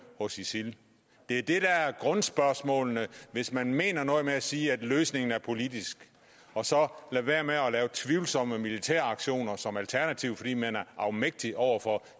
hos isil det er det der er grundspørgsmålene hvis man mener noget med at sige at løsningen er politisk og så skal lade være med at lave tvivlsomme militære aktioner som et alternativ fordi man er afmægtig over for